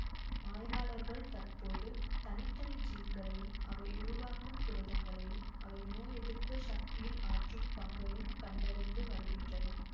ஆய்வாளர்கள் தற்போது தனி தனி ஜீன்களையும் அவை உருவாக்கும் புரதங்களையும் அவை நோய் எதிர்ப்பு சக்தியில் ஆற்றும் பங்கையும் கண்டறிந்து வருகின்றனர்